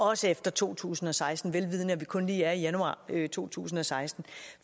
også efter to tusind og seksten vel vidende at vi kun lige er i januar i to tusind og seksten